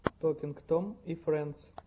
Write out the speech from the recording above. токинг том и френдс